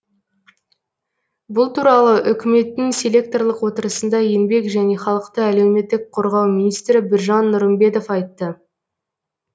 бұл туралы үкіметтің селекторлық отырысында еңбек және халықты әлеуметтік қорғау министрі біржан нұрымбетов айтты